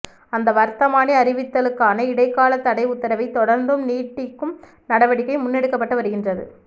அந்த வர்த்தமானி அறிவித்தலுக்கான இடைக்காலத் தடை உத்தரவை தொடர்ந்தும் நீடிக்கும் நடவடிக்கை முன்னெடுக்கப்பட்டு வருகின்றது